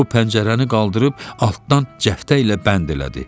O pəncərəni qaldırıb altdan cəftə ilə bənd elədi.